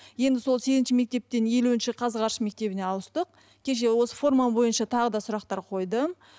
енді сол сегізінші мектептен елуінші қазғарыш мектебіне ауыстық кеше осы форма бойынша тағы да сұрақтар қойдым